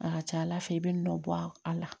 A ka ca ala fɛ i bɛ nɔ bɔ a la